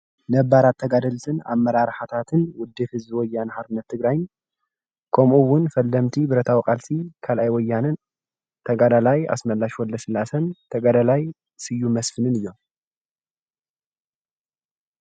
ነበራት ተጋደልትን ኣመራርሓታትን ዉድብ ህዝቢ ወያነ ሓርነት ትግራይን ከምኡ እውን ቀደምቲ ብረታዊ ቃልሲ ካላኣይ ወያነን ተጋዳላይ ኣሽመላሽ ወልደስላሴን ተጋዳላይ ሰዩም መስፍንን እዮም።